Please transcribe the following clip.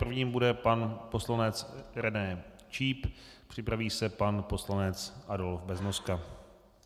Prvním bude pan poslanec René Číp, připraví se pan poslanec Adolf Beznoska.